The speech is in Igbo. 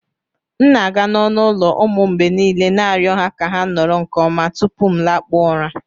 M na-aga n'ọnụ ụlọ ụmụ m mgbe niile na-arịọ ha ka ha nọrọ nke ọma tupu m lakpuo ụra